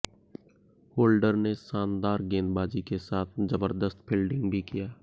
holder ने शानदार गेंदबाजी के साथ जबरदस्त फील्डिंग भी किया